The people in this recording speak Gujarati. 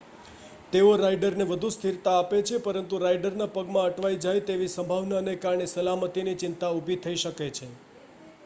તેઓ રાઇડરને વધુ સ્થિરતા આપે છે પરંતુ રાઇડરના પગમાં અટવાઇ જાય તેવી સંભાવનાને કારણે સલામતીની ચિંતા ઊભી થઈ શકે છે